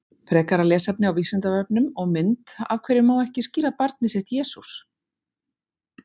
Frekara lesefni á Vísindavefnum og mynd Af hverju má ekki skíra barnið sitt Jesús?